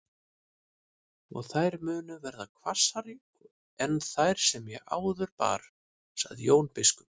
Og þær munu verða hvassari en þær sem ég áður bar, sagði Jón biskup.